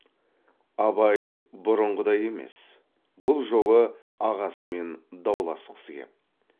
абай бұрынғыдай емес бұл жолы ағасымен дауласқысы кеп